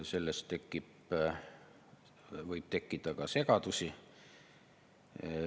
Sellest võib tekkida segadusi.